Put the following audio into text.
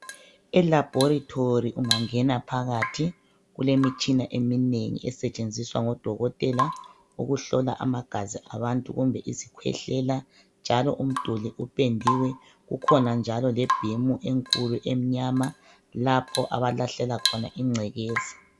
Elaboratory ungangena phakathi kule mitshina eminengi esetshenziswa ngodokotela ukuhlola amagazi abantu kumbe izikhwehlela njalo umduli upendiwe . Kukhonanjalo lebhimu enkulu emnyama lapho abalahlela khona ingcekeza .